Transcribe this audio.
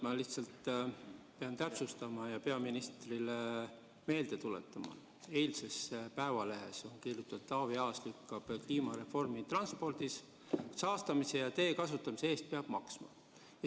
Ma lihtsalt pean täpsustama ja peaministrile meelde tuletama, et eilses Eesti Päevalehes ilmus artikkel pealkirjaga "Taavi Aas lükkab kliimareformi transpordis: saastamise ja tee kasutamise eest peaks maksma".